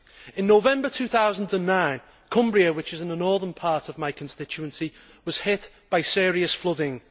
In November 2009, Cumbria, which is in the northern part of my constituency, was hit by serious flooding.